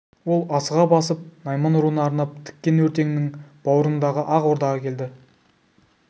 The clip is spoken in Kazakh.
ол асыға басып найман руына арнап тіккен өртеңнің баурындағы ақ ордаға келді